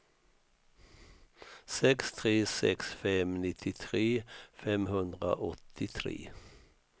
sex tre sex fem nittiotre femhundraåttiotre